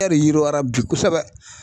E de yiriwara bi kosɛbɛ